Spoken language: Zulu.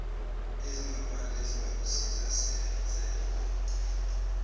ezingaphandle esingakusiza senze